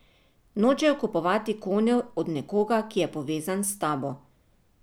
Nočejo kupovati konjev od nekoga, ki je povezan s tabo.